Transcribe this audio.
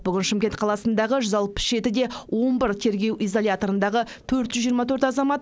бүгін шымкент қаласындағы жүз алпыс жеті де он бір тергеу изоляторындағы төрт жүз жиырма төрт азамат